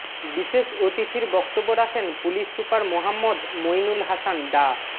বিশেষ অতিথির বক্তব্য রাখেন পুলিশ সুপার মোহাম্মদ মইনুল হাসান ডা